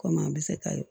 Komi an bɛ se ka ye